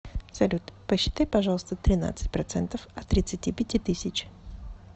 салют посчитай пожалуйста тринадцать процентов от тридцати пяти тысяч